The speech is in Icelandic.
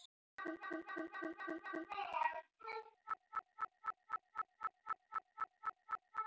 Ég heyri ekki í ykkur.